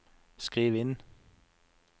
skriv inn